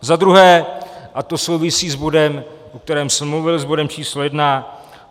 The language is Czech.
Za druhé, a to souvisí s bodem, o kterém jsem mluvil, s bodem číslo jedna.